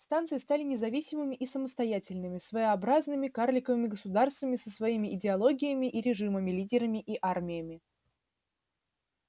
станции стали независимыми и самостоятельными своеобразными карликовыми государствами со своими идеологиями и режимами лидерами и армиями